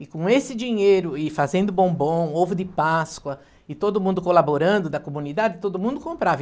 E com esse dinheiro, e fazendo bombom, ovo de páscoa, e todo mundo colaborando da comunidade, todo mundo comprava.